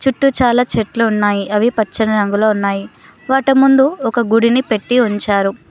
చుట్టు చాలా చెట్లు ఉన్నాయి అవి పచ్చని రంగులో ఉన్నాయి వాట ముందు ఒక గుడిని పెట్టి ఉంచారు.